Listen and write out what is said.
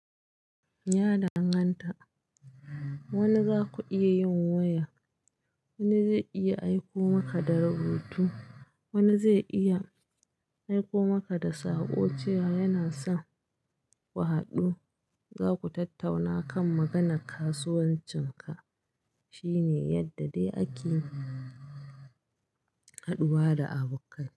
Ya danganta. Wani za ku iya yin waya, wani zai iya aiko maka da rubutu, wani zai iya aiko maka da saƙo cewa yana son ku haɗu. Za ku tattauna kan maganar kasuwancin ka. Shi ne yadda dai ake haɗuwa da abukkai.